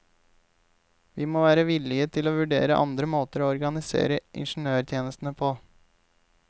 Vi må være villige til å vurdere andre måter å organisere ingeniørtjenestene på.